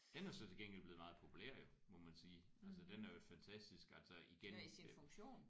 Den er så til gengæld blevet meget populær jo må man sige. Altså den er jo et fantastisk altså igen